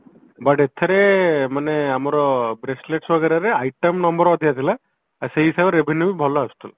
but ଏଥେରେ ମାନେ ଆମର bracelet ବଗେରାରେ item ଆମର ଅଧିକା ଥିଲା ଆଉ ସେଇ ହିସାବରେ revenue ବି ଭଲ ଆସୁଥିଲା